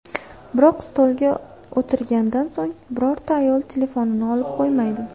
Biroq stolga o‘tirgandan so‘ng, birorta ayol telefonini olib qo‘ymaydi.